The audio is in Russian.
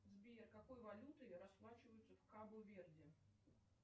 сбер какой валютой расплачиваются в кабо верде